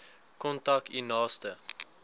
kontak u naaste